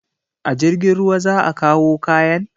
A jirgin ruwa za a kawo kayan?